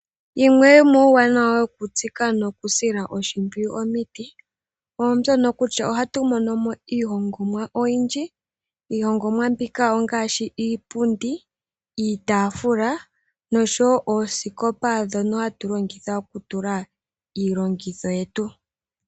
Yimwe yomuuwanawa wokutsika nokusila oshimpwiyu omiti, mbyono kutya ohatu mono mo iihongomwa oyindji. Iihongomwa mbika ongaashi iipundi, iitaafula noshowo oosikopa ndhono hatu longitha okutula iilongitho yetu.